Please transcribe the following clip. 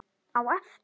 Á eftir?